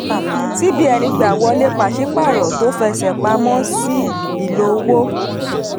cbn gbà wọlé paṣípààrọ̀ tó fẹsẹ̀ pamọ́ sí ìlò òwò.